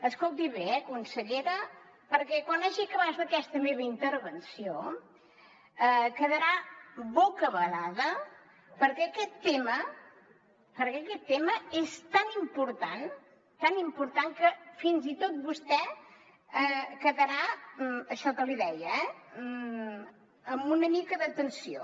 escolti bé eh consellera perquè quan hagi acabat aquesta meva intervenció quedarà bocabadada perquè aquest tema és tan important tan important que fins i tot vostè quedarà això que li deia eh amb una mica de tensió